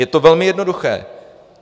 Je to velmi jednoduché.